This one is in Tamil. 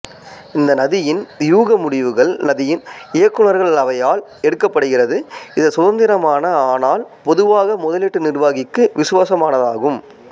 இந்த நிதியின் வியூக முடிவுகள் நிதியின் இயக்குநர்கள் அவையால் எடுக்கப்படுகிறது இது சுதந்திரமான ஆனால் பொதுவாக முதலீட்டு நிர்வாகிக்கு விசுவாசமானதாகும்